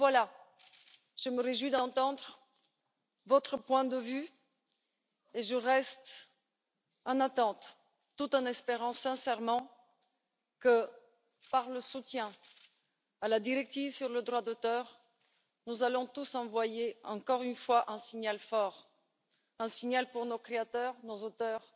Aussi, je me réjouis d'entendre votre point de vue et je reste dans cette attente, tout en espérant sincèrement que, par le soutien à la directive sur le droit d'auteur, nous allons tous envoyer, encore une fois, un signal fort, un signal pour nos créateurs, nos auteurs,